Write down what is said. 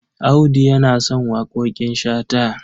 Audu yana son waƙoƙin Shata.